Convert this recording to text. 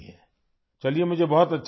خیر! مجھے بہت اچھا لگا